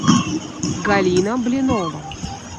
галина блинова